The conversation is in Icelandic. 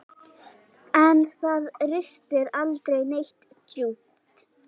En það ristir aldrei neitt djúpt.